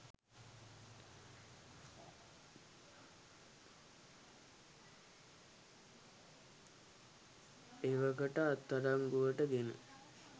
එවකට අත්අඩංගුවට ගෙන